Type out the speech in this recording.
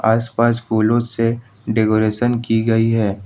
आस पास फूलों से डेकोरेशन की गई है।